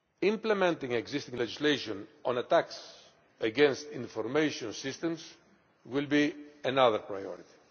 Implementing existing legislation on attacks against information systems will be another priority.